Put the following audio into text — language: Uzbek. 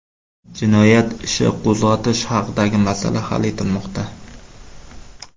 Jinoyat ishi qo‘zg‘atish haqidagi masala hal etilmoqda.